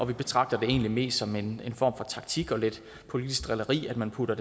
vi betragter det egentlig mest som en for taktik og lidt politisk drilleri at man putter